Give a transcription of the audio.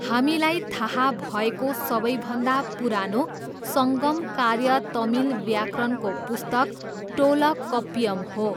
हामीलाई थाहा भएको सबैभन्दा पुरानो सङ्गम कार्य तमिल व्याकरणको पुस्तक टोलकप्पियम हो।